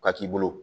Ka k'i bolo